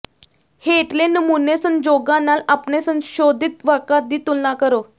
ਹੇਠਲੇ ਨਮੂਨੇ ਸੰਜੋਗਾਂ ਨਾਲ ਆਪਣੇ ਸੰਸ਼ੋਧਿਤ ਵਾਕਾਂ ਦੀ ਤੁਲਨਾ ਕਰੋ